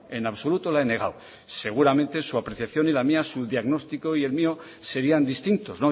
en absoluto la he negado seguramente su apreciación y la mía su diagnóstico y el mío serían distintos